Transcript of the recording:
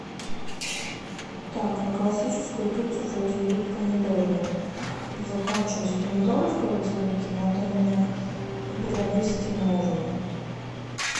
так на классическую пиццу вроде идут помидоры закончились помидоры в холодильнике надо мне приобрести новые